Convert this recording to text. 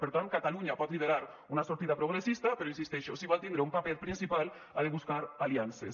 per tant catalunya pot liderar una sortida progressista però hi insisteixo si vol tindre un paper principal ha de buscar aliances